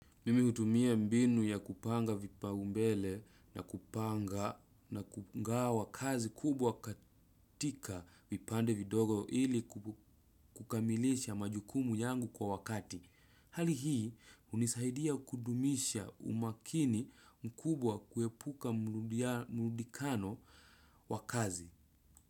Mimi utumia mbinu ya kupanga vipaumbele na kupanga wakazi kubwa katika vipande vidogo ili kukamilisha majukumu yangu kwa wakati. Hali hii unisaidia kudumisha umakini mkubwa kuepuka mludikano wakazi.